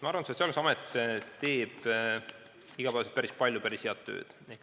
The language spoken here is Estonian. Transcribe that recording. Ma arvan, et Sotsiaalkindlustusamet teeb igapäevaselt päris palju päris head tööd.